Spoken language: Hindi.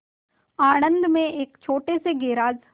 आणंद में एक छोटे से गैराज